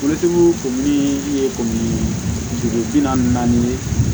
Forotigiw ko min ye o bi naani ni naani ye